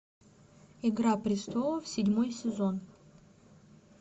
игра престолов седьмой сезон